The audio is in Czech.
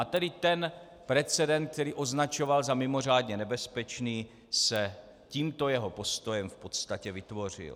A tedy ten precedent, který označoval za mimořádně nebezpečný, se tímto jeho postojem v podstatě vytvořil.